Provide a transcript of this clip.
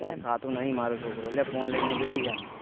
કઈ ખાતું નહી માર છોકરું લે ફોન લઈને બેસી જાય